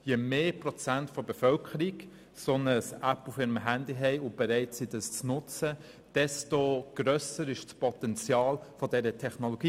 Je mehr Prozent der Bevölkerung eine solche App auf ihrem Handy haben und bereit sind, diese zu nutzen, desto grösser wird das Potenzial dieser Technologie.